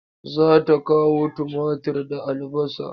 Za ta kawo tumatir da albasa.